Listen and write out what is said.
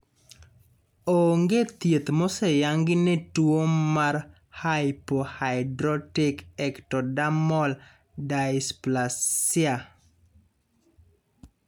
Onge thieth moseyangi ne tuo mar hypohidrotic ectodermal dysplasia.